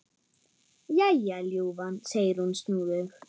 Jæja, ljúfan, segir hún snúðug.